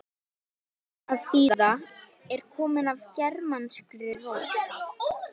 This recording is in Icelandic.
sögnin að þýða er komin af germanskri rót